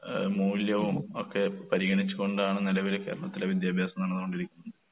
ഏഹ് മൂല്യവും ഒക്കെ പരിഗണിച്ചുകൊണ്ടാണ് നിലവിലെ കേരളത്തിലെ വിദ്യാഭ്യാസം നടന്നുകൊണ്ടിരിക്കുന്നത്.